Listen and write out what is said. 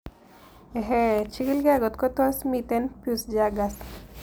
Ehee kichig'ile kotko tos mito Peutz Jeghers